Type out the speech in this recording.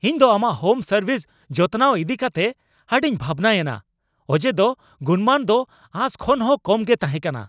ᱤᱧ ᱫᱚ ᱟᱢᱟᱜ ᱦᱳᱢ ᱥᱟᱨᱵᱷᱤᱥ ᱡᱚᱛᱱᱟᱣ ᱤᱫᱤᱠᱟᱛᱮ ᱟᱹᱰᱤᱧ ᱵᱷᱟᱵᱱᱟᱭᱮᱱᱟ ᱚᱡᱮᱫᱚ ᱜᱩᱱᱢᱟᱱ ᱫᱚ ᱟᱸᱥ ᱠᱷᱚᱱᱦᱚᱸ ᱠᱚᱢ ᱜᱮ ᱛᱟᱦᱮᱸ ᱠᱟᱱᱟ ᱾